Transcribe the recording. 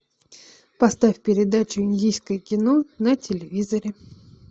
поставь передачу индийское кино на телевизоре